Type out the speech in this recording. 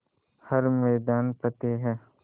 हर मैदान फ़तेह